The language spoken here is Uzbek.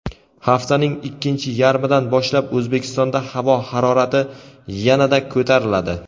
Haftaning ikkinchi yarmidan boshlab O‘zbekistonda havo harorati yanada ko‘tariladi.